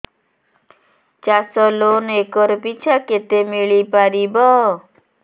ଚାଷ loan acre ପିଛା କେତେ ମିଳି ପାରିବ